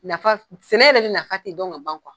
Nafa sɛnɛ yɛrɛ de nafa tɛ dɔn ka ban kuwa